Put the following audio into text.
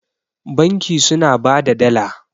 banki suna ba da Dala